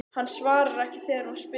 Hann svarar ekki þegar hún spyr.